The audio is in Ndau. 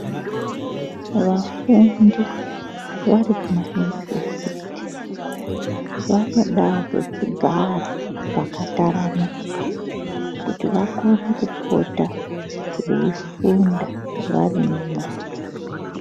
Vafundi vari kumayunivhesiti vanodawo pekugara pakataramuka kuti vakone kupota veifunda varimwo.